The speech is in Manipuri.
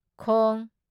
ꯈꯣꯡ